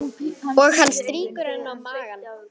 Og hann strýkur á henni magann.